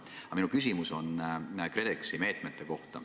Aga minu küsimus on KredExi meetmete kohta.